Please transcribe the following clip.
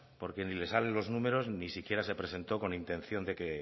porque ni les sale los números ni siquiera se presentó con intención de que